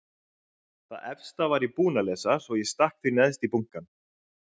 Það efsta var ég búin að lesa svo ég stakk því neðst í bunkann.